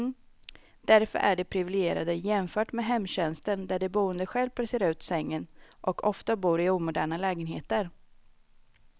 Därför är de priviligierade jämfört med hemtjänsten där de boende själv placerar ut sängen, och ofta bor i omoderna lägenheter.